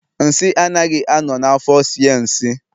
Nsị anaghị a nọ na afo esie nsị